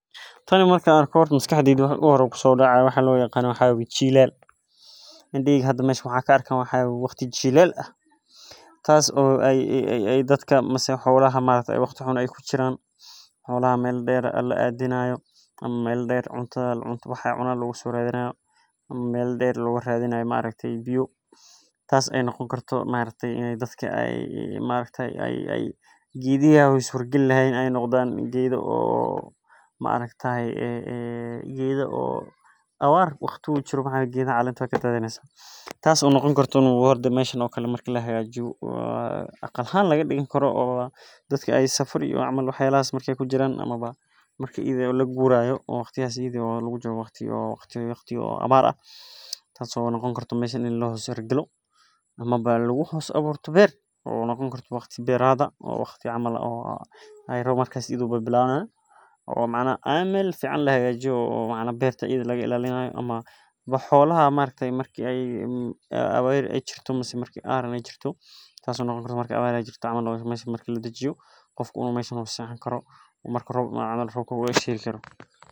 Tani marka an arki waxaa maskaxdeyda kusodacaya waa loyaqano waa waye jilal indaheyga hada meshan waxee ka arkan waxaa waye tas oo jilal ah dadka mase xolaha ee waqti xun kujiran ama meel deer la adinayo ama meel deer cunta loga soradhinayo ama meel deer loga radinayo biyo tas oo noqoni kartaa biya in ee dadka geedahi ee surayan ee noqdo marki meshan oo kale lahagajiyo aqal ahan laga digo oo dadka safar iyo aama lagurayo oo lagu jiro waqti abar ah ama lagu hosjiro beer oo noqoni karto waqti beerad ah oo macnaha meel fican oo macnaha beerta laga ilalinayo holaha marki ee abar jirto mase aran jirto camal meshan camal lasexani karo oo meshan camal la hergali karo.